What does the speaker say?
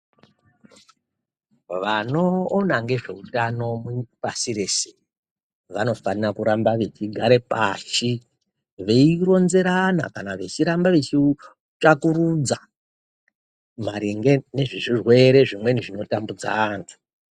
Vanoona ngezveutano pasi rese vanofana kuramba vechigare pashi veironzerana kana vechiramba vechitsvakurudza maringe nezvezvirwere zvimweni zvinotambudza antu.